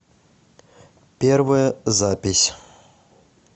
первая запись